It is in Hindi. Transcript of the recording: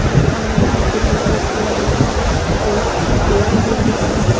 बहुत सारा आदमी दिख रहे हैं एक पेड़ भी दिख रहा--